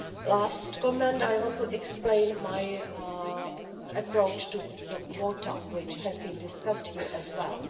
Lastly, I want to explain my approach to the quota, which has been discussed here as well.